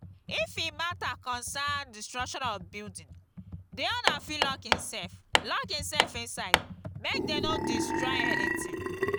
if e matter concern destruction of building the owner fit lock himself lock himself inside make them no estroy anything